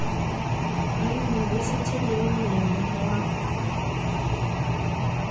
wa yunivesithi le molemong wa